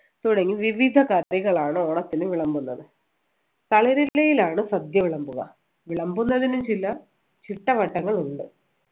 തുടങ്ങി വിവിധ കറികളാണ് ഓണത്തിന് വിളമ്പുന്നത് തളിരിലയിലാണ് സദ്യ വിളമ്പുക വിളമ്പുന്നതിന് ചില ചിട്ടവട്ടങ്ങളുണ്ട്